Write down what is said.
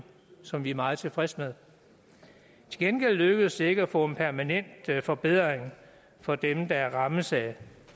som vi er meget tilfredse med til gengæld lykkedes det ikke at få en permanent forbedring for dem der rammes af